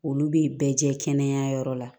Olu bɛ bɛɛ jɛ kɛnɛya yɔrɔ la